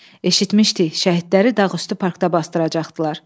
Eşitmişdik, şəhidləri Dağüstü Parkda basdıracaqdılar.